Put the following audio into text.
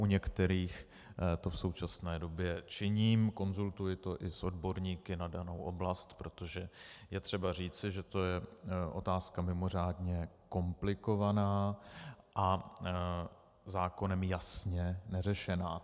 U některých to v současné době činím, konzultuji to i s odborníky na danou oblast, protože je třeba říci, že to je otázka mimořádně komplikovaná a zákonem jasně neřešená.